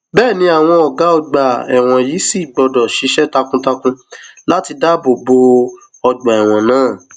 bẹẹ ni àwọn ọgá ọgbà ẹwọn yìí sì gbọdọ ṣiṣẹ takuntakun láti dáàbò bo ọgbà ẹwọn náà